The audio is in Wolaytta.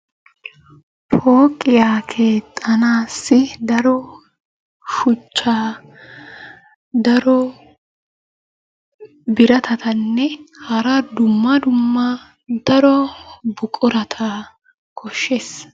Pooqiya keexxanaassi daro shuchchaa, daro biratatanne hara dumma dumma daro buqurata koahshees.